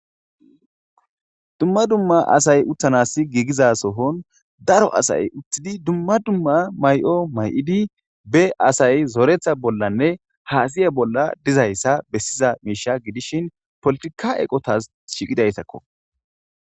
Dumma dumma asay uththanaasi giigiza sohon daro asay uththidi dumma dumma may7o may7idi beasay azoretha bollanne haasaya bolla dizayssa bessiza miishsha godishin polotika eqotaas shiiqida esa ko.